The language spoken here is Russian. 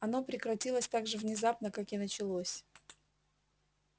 оно прекратилось так же внезапно как и началось